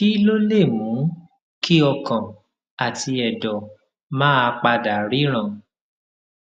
kí ló lè mú kí ọkàn àti èdò máa pa dà ríran